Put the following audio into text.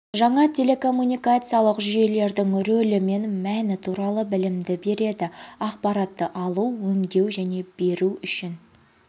және телекоммуникациялық жүйелердің рөлі мен мәні туралы білімді береді ақпаратты алу өңдеу және беру үшін